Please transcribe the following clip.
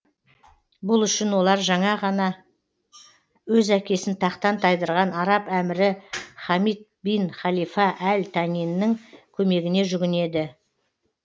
бұл үшін олар жаңа ғана өз әкесін тақтан тайдырған араб әмірі хамид бин халифа әл танинің көмегіне жүгінеді